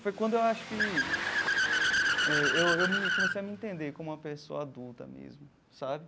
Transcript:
Foi quando eu acho que eh eu eu me eu comecei a me entender como uma pessoa adulta mesmo, sabe?